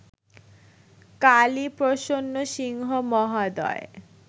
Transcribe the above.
কালীপ্রসন্ন সিংহ মহোদয়